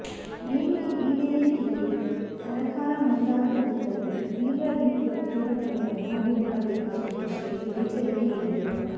ಬೇಡಿಕೆ ಈಡೇರಿಕೆಗೆ ಸರಕಾರ ಮುಂದಾಗದಿದ್ದಲ್ಲಿ ತೀವ್ರ ರೀತಿಯ ಪ್ರತಿಭಟನೆಯನ್ನು ಹಮ್ಮಿಕೊಳ್ಳಬೇಕಾಗುತ್ತದೆ ಎಂದು ಎಚ್ಚರಿಕೆ ನೀಡಿದರು